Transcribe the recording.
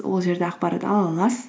ол жерде ақпарат ала аласыз